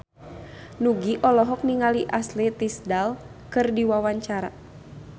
Nugie olohok ningali Ashley Tisdale keur diwawancara